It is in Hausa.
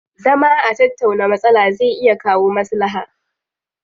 Zama a tattauna matsala zai iya kawo maslaha.